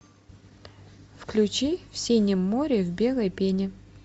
включи в синем море в белой пене